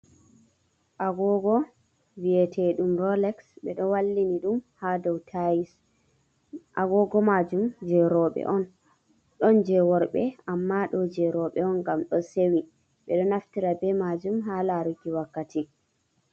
Agogo viyeteɗum rolex ɓeɗo wallini ɗum ha dow tayis, agogo majum je roɓe on, ɗon je worɓe amma ɗo je roɓe on ngam ɗo sewi ɓeɗo naftira be majum ha laruki wakkati.